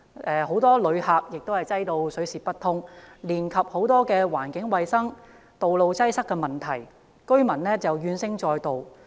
大量旅客把該處擠得水泄不通，連帶產生很多環境衞生、道路擠塞等問題，令居民怨聲載道。